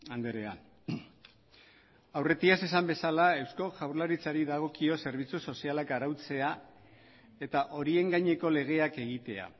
andrea aurretiaz esan bezala eusko jaurlaritzari dagokio zerbitzu sozialak arautzea eta horien gaineko legeak egitea